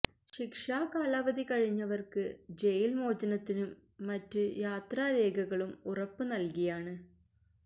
ശിക്ഷാ കാലാവധി കഴിഞ്ഞവർക്ക് ജയിൽ മോചനത്തിനും മറ്റു യാത്രാരേഖകളും ഉറപ്പ് നൽകിയാണ്